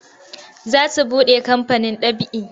Za su buɗe kamfanin ɗab'i.